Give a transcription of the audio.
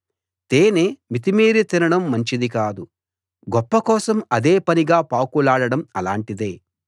తేనె మితిమీరి తినడం మంచిది కాదు గొప్ప కోసం అదే పనిగా పాకులాడడం అలాటిదే